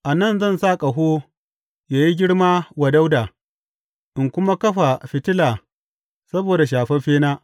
A nan zan sa ƙaho ya yi girma wa Dawuda in kuma kafa fitila saboda shafaffena.